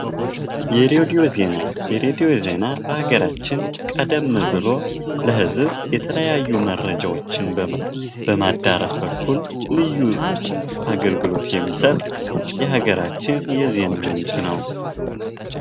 የሬዲኦ ዜና በአገራችን ቀደም ብሎ ለህዝብ የተለያዩ መርጃዎችን በማዳርሰ በኩል ልዩ አገልግሎት የሚሰጥ የሀገራችን የዜና ምንጭ ነዉ።